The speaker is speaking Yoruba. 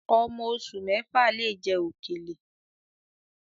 Ọmọ oṣù mẹ́fà lè jẹ òkèlè